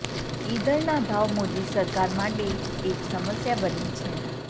ઈંધણના ભાવ મોદી સરકાર માટે એક સમસ્યા બની છે